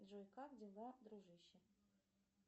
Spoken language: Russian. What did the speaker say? джой как дела дружище